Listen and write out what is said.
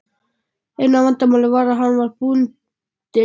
Eina vandamálið var að hann var bundinn.